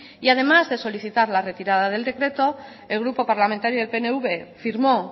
además de solicitar la retirada del decreto el grupo parlamentario del pnv firmó